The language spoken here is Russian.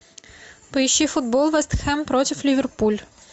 поищи футбол вест хэм против ливерпуль